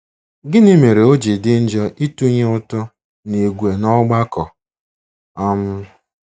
Gịnị mere o ji dị njọ ịtụnye ụtụ n'ìgwè n'ọgbakọ? um